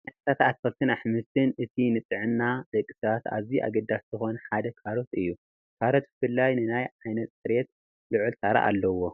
ካብ ዓይነታት ኣትክልትን ኣሕምልትን እቲ ንጥዕና ደቂ ሰባት ኣዝዩ ኣገዳሲ ዝኾነ ሓደ ካሮት እዩ፡፡ ካሮት ብፍሉይ ንናይ ዓይኒ ፅሬት ልዑል ተራ ኣለዎ፡፡